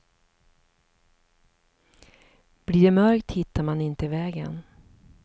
Blir det mörkt hittar man inte vägen.